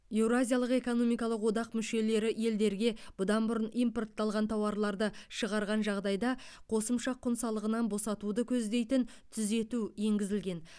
еуразиялық экономикалық одақ мүшелері елдерге бұдан бұрын импортталған тауарларды шығарған жағдайда қосымша құн салығынан босатуды көздейтін түзету енгізілген